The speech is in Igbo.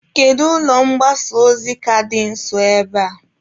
Kedu ụlọ mgbasa ozi ka dị nso ebe a?